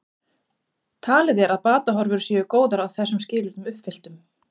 Talið er að batahorfur séu góðar að þessum skilyrðum uppfylltum.